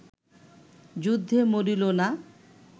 যুদ্ধে মরিল না